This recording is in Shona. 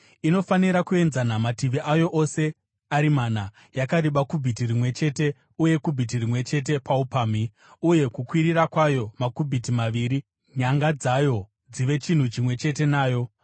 Inofanira kuenzana mativi ayo ose ari mana, yakareba kubhiti rimwe chete uye kubhiti rimwe chete paupamhi, uye kukwirira kwayo makubhiti maviri , nyanga dzayo dzive chinhu chimwe chete nayo.